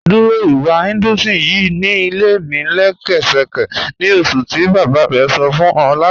Dúró ìwà Hinduism ýìí ni ilẹ̀ mi lẹ̀ṣẹkẹ̀sẹ̀ ni oṣùn ti baba rẹ sọ̀ fún ọ̀ lána